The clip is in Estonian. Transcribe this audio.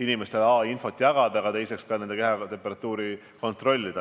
inimestele a) infot jagada ja b) ka nende kehatemperatuuri kontrollida.